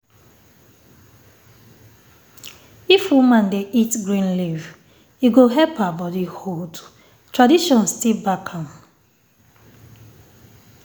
if woman dey eat green leaf e go help her body hold. tradition still back am